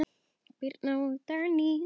Birna og Dagný.